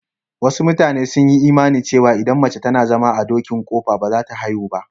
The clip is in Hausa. Wasu matanen sun yi imani cewa idan mace tana zama a dokin ƙofa ba za ta haihu ba.